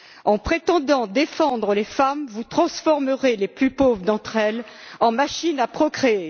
En prétendant défendre les femmes, vous transformerez les plus pauvres d'entre elles en machines à procréer.